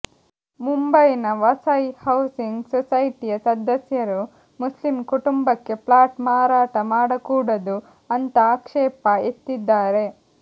ಮುಂಬೈನ ವಸೈ ಹೌಸಿಂಗ್ ಸೊಸೈಟಿಯ ಸದಸ್ಯರು ಮುಸ್ಲಿಂ ಕುಟುಂಬಕ್ಕೆ ಫ್ಲಾಟ್ ಮಾರಾಟ ಮಾಡಕೂಡದು ಅಂತಾ ಆಕ್ಷೇಪ ಎತ್ತಿದ್ದಾರೆ